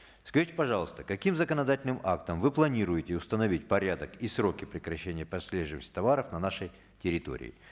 скажите пожалуйста каким законодательным актом вы планируете установить порядок и сроки прекращения прослеживаемости товаров на нашей территории